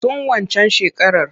Tun waccan shekarar.